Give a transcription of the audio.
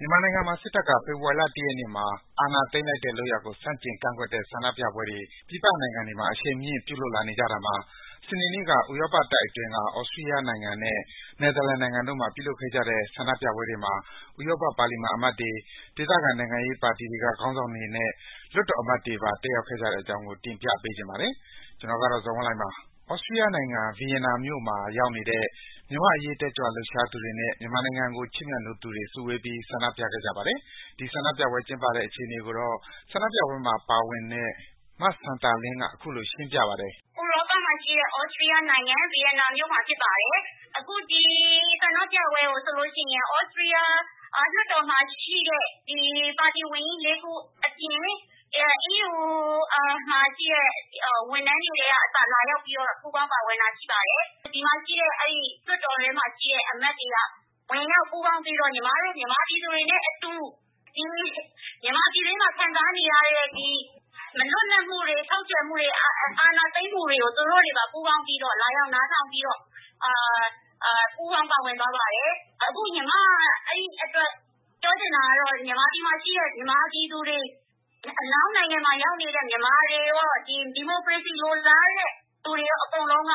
မြန်မာနိုင်ငံမှာ စစ်တပ်က ဖေဖော်ဝါရီလ ၁ ရက်နေ့မှာ အာဏာသိမ်းလိုက်တဲ့လုပ်ရပ်ကို ဆန့်ကျင်ကန့်ကွက်တဲ့ ဆန္ဒပြပွဲတွေ ပြည်ပနိုင်ငံတွေမှာ အရှိန်မြင့် ပြုလုပ်လာနေကြတာမှာ စနေနေ့က ဥရောပတိုက်အတွင်းက သြစတီးယားနဲ့ နယ်သာလန်နိုင်ငံတို့မှာ ပြုလုပ်ခဲ့ကြတဲ့ ဆန္ဒပြပွဲတွေမှာ ဥရောပပါလီမန် အမတ်တွေ၊ ဒေသခံနိုင်ငံရေးပါတီတွေက ခေါင်းဆောင်တွေနဲ့ လွှတ်တော်အမတ်တွေပါ တက်ရောက်ခဲ့ကြတဲ့အကြောင်းကို တင်ပြပေးချင်ပါတယ်။ ကျနော် ဇော်ဝင်းလှိုင်ပါ။ သြစတီးယားနိုင်ငံ၊ ဗီယင်နာမြို့မှာရောက်နေတဲ့ မြန်မာ့အရေး တက်ကြွလှုပ်ရှားသူတွေနဲ့ မြန်မာနိုင်ငံကို ချစ်မြတ်နိုးသူတွေ စုဝေးပြီး ဆန္ဒပြခဲ့ကြပါတယ်။ ဒီဆန္ဒပြပွဲ ကျင်းပတဲ့အခြေအနေကိုတော့ ဆန္ဒပြပွဲမှာ ပါဝင်နေတဲ့ မစံသာလင်းက အခုလို ရှင်းပြပါတယ်။ “ဥရောပမှာရှိတဲ့ သြစတီးယားနိုင်ငံ၊ ဗီယင်နာမြို့မှာ ပြုလုပ်နေတာပါ။ အခု ဒီဆန္ဒပြပွဲကို သြစတီးယားလွှတ်တော်မှာရှိတဲ့ ပါတီကြီး ၄ ခုအပြင်၊ အီးယူမှာရှိတဲ့ ဝန်ထမ်းတွေ ကအစ လာရောက်ပြီးတော့ ပူးပေါင်း ပါဝင်တာ ရှိပါတယ်။ လွှတ်တော်ထဲမှာရှိတဲ့ အမတ်တွေက ဝင်ရောက် ပူးပေါင်းပြီးတော့ ညီမတို့ မြန်မာပြည်သူတွေနဲ့အတူ မြန်မာပြည်တွင်းမှာ ခံစားနေရတဲ့ မလွတ်လပ်မှုတွေ၊ ချုပ်ခြယ်မှုတွေ၊ အာဏာသိမ်းမှုတွေကို သူတို့တွေပါ ပူးပေါင်းပြီးတော့ လာရောက် နားထောင်ပြီးတော့ ပူးပေါင်း ပါဝင်သွားပါတယ်။ အခု ညီမ ပြောချင်တာကတော့ မြန်မာပြည်မှာရှိတဲ့ မြန်မာပြည်သူတွေ အနောက်နိုင်ငံမှာ ရောက်နေတဲ့ မြန်မာတွေရော၊ ဒီမိုကရေစီ လိုလားတဲ့သူတွေရော အကုန်လုံးက